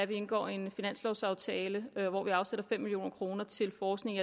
vi indgår en finanslovaftale hvor vi afsætter fem million kroner til forskning